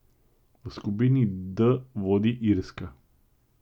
V skupini D vodi Irska.